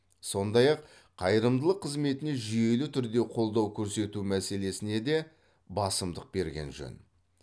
сондай ақ қайырымдылық қызметіне жүйелі түрде қолдау көрсету мәселесіне де басымдық берген жөн